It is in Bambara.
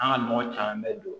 An ka nɔgɔ caman bɛ don